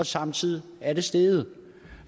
samtidig er steget